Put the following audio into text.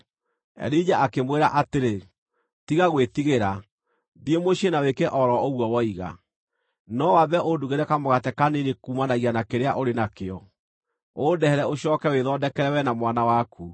Elija akĩmwĩra atĩrĩ, “Tiga gwĩtigĩra. Thiĩ mũciĩ na wĩke o ro ũguo woiga. No wambe ũndugĩre kamũgate kanini kuumanagia na kĩrĩa ũrĩ nakĩo, ũndehere ũcooke wĩthondekere wee na mwana waku.